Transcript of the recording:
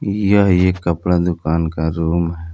यह एक कपड़ा दुकान का रूम है।